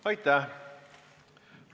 Aitäh!